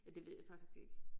Ja det ved jeg faktisk ikke